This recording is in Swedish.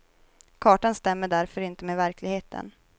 Kartan stämmer därför inte med verkligheten.